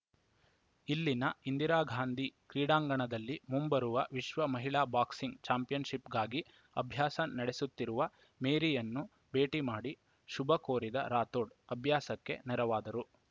ಇಲ್ಲಿನ ಇಂದಿರಾ ಗಾಂಧಿ ಕ್ರೀಡಾಂಗಣದಲ್ಲಿ ಮುಂಬರುವ ವಿಶ್ವ ಮಹಿಳಾ ಬಾಕ್ಸಿಂಗ್‌ ಚಾಂಪಿಯನ್‌ಶಿಪ್‌ಗಾಗಿ ಅಭ್ಯಾಸ ನಡೆಸುತ್ತಿರುವ ಮೇರಿಯನ್ನು ಭೇಟಿ ಮಾಡಿ ಶುಭ ಕೋರಿದ ರಾಥೋಡ್‌ ಅಭ್ಯಾಸಕ್ಕೆ ನೆರವಾದರು